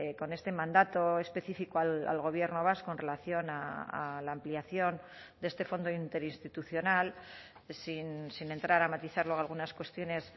con este mandato específico al gobierno vasco en relación a la ampliación de este fondo interinstitucional sin entrar a matizar luego algunas cuestiones